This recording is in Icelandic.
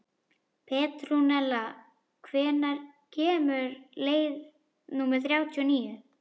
Petrúnella, hvenær kemur leið númer þrjátíu og níu?